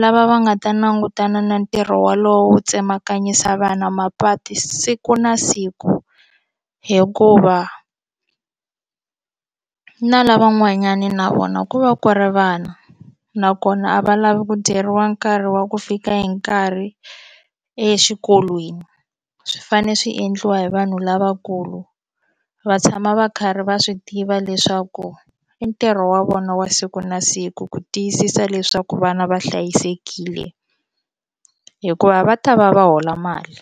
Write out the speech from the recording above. lava va nga ta langutana na ntirho wolowo wo tsemakanyisa vana mapatu siku na siku hikuva na lavan'wanyani na vona ku va ku ri vana nakona a va lavi ku dyeriwa nkarhi wa ku fika hi nkarhi exikolweni swi fanele swi endliwa hi vanhu lavakulu va tshama va karhi va swi tiva leswaku i ntirho wa vona wa siku na siku ku tiyisisa leswaku vana va hlayisekile hikuva va ta va va hola mali.